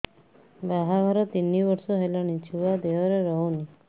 ବାହାଘର ତିନି ବର୍ଷ ହେଲାଣି ଛୁଆ ଦେହରେ ରହୁନି